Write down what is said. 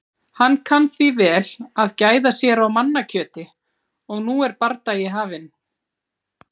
Hann kann því vel að gæða sér á mannakjöti. og nú er bardagi hafinn.